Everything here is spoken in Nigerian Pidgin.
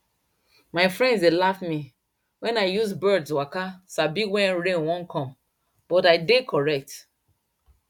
my friends dey laugh me wen i use birds waka sabi wen rain wan come but i dey correct